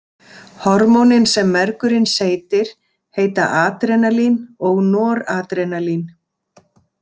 Hormónin sem mergurinn seytir heita adrenalín og noradrenalín.